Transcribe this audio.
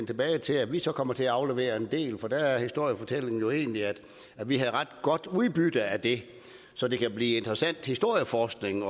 tilbage til at vi så kommer til at aflevere en del for der er historiefortællingen jo egentlig at vi havde ret godt udbytte af det så det kan blive interessant historieforskning